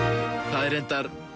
það er reyndar